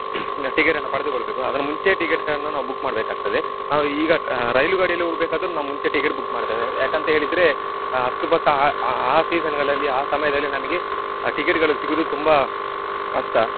ticket ಅನ್ನು ಪಡೆದುಕೊಳ್ಬೇಕು ಅದರ ಮುಂಚೆಯೇ ticket ಅನ್ನು ನಾವು book ಮಾಡ್ಬೇಕಾಗ್ತದೆ. ಆ ಈಗ ರೈಲು ಗಾಡಿಯಲ್ಲಿ ಹೋಗಬೇಕಾದ್ರೆ ನಾವು ಮುಂಚೆ ticket book ಮಾಡ್ತೇವೆ ಯಾಕಾಂತ ಹೇಳಿದ್ರೆ ಅಷ್ಟು ಪಕ್ಕ ಆ ಆ season ಗಳಲ್ಲಿ ಆ ಸಮಯದಲ್ಲಿ ನಮಿಗೆ ticket ಗಳು ಸಿಗುದು ತುಂಬಾ ಕಷ್ಟ